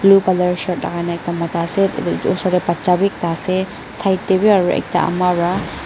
blue colour shirt lakai na ekta mota ase edu osor tae bacha bi ekta ase side taebi aro ekta ama wra--